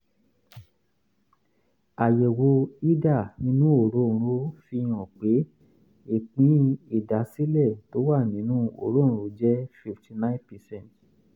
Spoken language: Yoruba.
àyẹ̀wò hida inú òróǹro fihàn pé ìpín ìdásílẹ̀ tó wà nínú òróǹro jẹ́ 59 percent